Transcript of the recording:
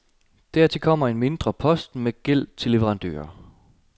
Dertil kommer en mindre post med gæld til leverandører.